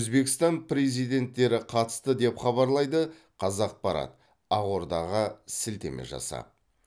өзбекстан президенттері қатысты деп хабарлайды қазақпарат ақордаға сілтеме жасап